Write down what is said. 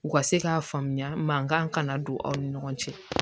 U ka se k'a faamuya mankan kana don aw ni ɲɔgɔn cɛ